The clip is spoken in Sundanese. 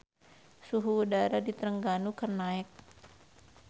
Suhu udara di Trengganu keur naek